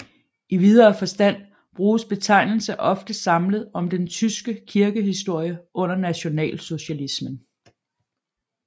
I videre forstand bruges betegnelse ofte samlet om den tyske kirkehistorie under nationalsocialismen